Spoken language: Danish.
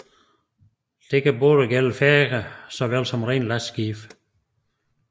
Dette kan gælde færger så vel som rene lastskibe